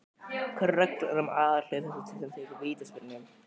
Hverjar eru reglurnar um aðhlaup þess sem tekur vítaspyrnu?